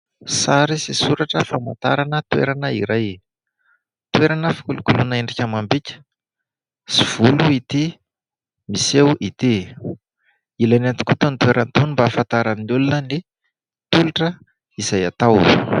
Sary sy soratra famantarana toerana iray. Toerana fikolokoloana endrika amam-bika sy volo ity miseho ity. Ilaina tokoa itony toerana itony mba ahafantaran'ny olona ny tolotra izay atao.